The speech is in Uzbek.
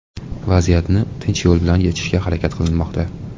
Vaziyatni tinch yo‘l bilan yechishga harakat qilinmoqda.